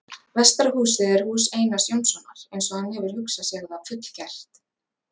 Vestara húsið er hús Einars Jónssonar, eins og hann hefur hugsað sér það fullgert.